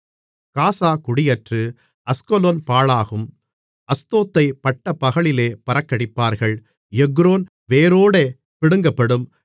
காசா குடியற்று அஸ்கலோன் பாழாகும் அஸ்தோத்தைப் பட்டப்பகலிலே பறக்கடிப்பார்கள் எக்ரோன் வேரோடே பிடுங்கப்படும்